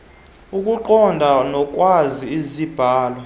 ukuqonda nokwazi izibalo